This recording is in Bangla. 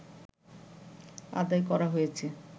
আদায় করা হয়েছে